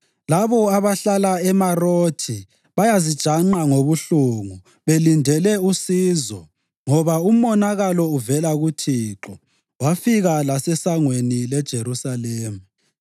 Labo abahlala eMarothi bayazijanqa ngobuhlungu, belindele usizo ngoba umonakalo uvele kuThixo, wafika lasesangweni leJerusalema.